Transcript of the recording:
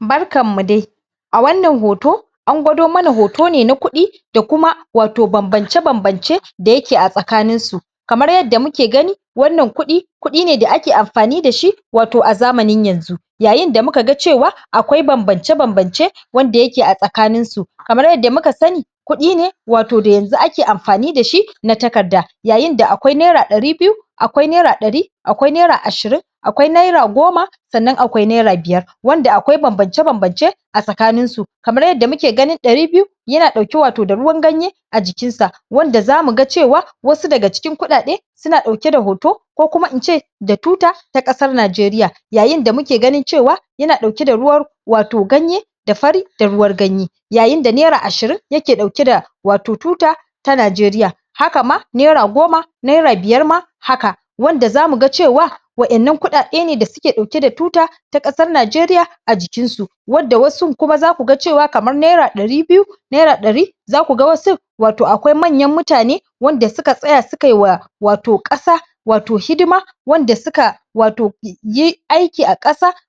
Barkan mu da. A wannna hoto, an gwado mana hoto ne na kuɗi da kuma wato banbance-banbance da yake a tsakanin su. Kamar yadda muke gani, wannan kuɗi, kuɗi ne da ake amfani dashi wato a zamanin yanzu. Yayin da mu kaga cewa, akwai banbance-banbance wadda yake a tsakaninsu. Kamar yadda muka sani kuɗi ne wato da yanzu ake amfani dashi na takarda yayin da akwai naira ɗari biyu, akwai naira ɗari, akwai naira ashirin, akwai naira goma sannan akwai naira biyar. Wanda akwai banbance-banbance a tsakaninsu kamar yadda muke ganin ɗari biyu yana ɗauke wato da ruwan ganye, a jikinsa. Wanda zamu ga cewa, wasu daga cikin kuɗaɗe, suna ɗauke da hoto ko kuma ince, da tuta ta ƙasar Najeriya. Yayin da muke ganin cewa, yana ɗauke da ruwa wato ganye da fari da ruwar ganye. Yayin da naira ashirin yake ɗauke da wato tuta ta Na.jeriya Haka ma naira goma naira biyar ma, haka. Wand azamu ga cewa, waɗannan kuɗaɗe ne da su ɗauke da tuta ta ƙasar Najeriya, a jikinsu. Wadda wasu kuma zaku ga cewa kamar naira ɗari biyu, naira ɗari, zaku ga wasu wato akwai manyan mutane, wanda suka tsaya su kaiwa wato ƙasa wato hidima wanda suka wato yi aiki a